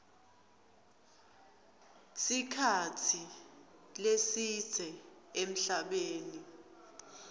sikhatsi lesidze emhlabeni